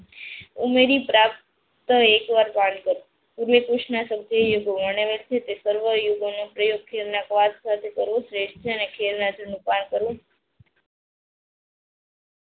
ઉમરી પ્રાપ્ત એક વાર પ્રયોગથી શ્રેષ્ઠ છે.